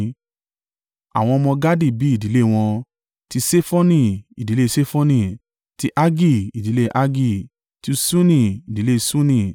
Àwọn ọmọ Gadi bí ìdílé wọn: ti Sefoni, ìdílé Sefoni; ti Haggi, ìdílé Haggi; ti Ṣuni, ìdílé Ṣuni;